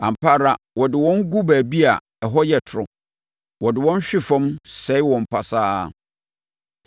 Ampa ara wode wɔn gu baabi a ɛhɔ yɛ toro. Wode wɔn hwe fam sɛe wɔn pasaa.